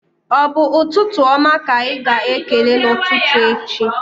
Ọ bụ ụtụtụ oma ka ịga-ekele n'ụtụtụ echi?